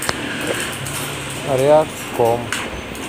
ряжском